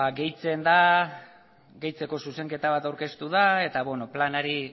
gehitzen da gehitzeko zuzenketa bat aurkeztu da eta planari